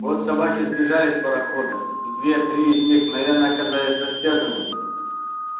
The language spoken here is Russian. вот собаки сбежали с парохода и две-три из них мгновенно оказались растерзанными